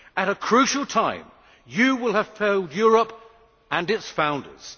At a crucial time you will have failed Europe and its founders.